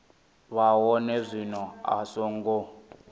vha hone zwino a songo